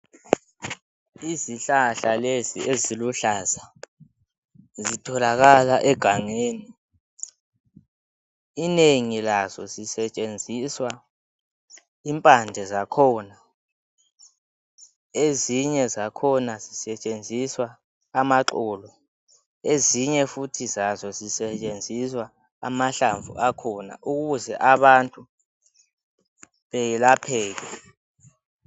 Izihlahla lezi eziluhlaza zitholakala egangeni. Inengi laso sisetshenziswa impande zakhona. Ezinye zakhona zisetshenziswa amaxolo, ezinye futhi zazo zisetshenziswa amahlamvu akhona ukuze abantu beyelapheke